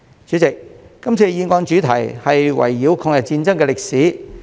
主席，今次議案的主題圍繞抗日戰爭的歷史。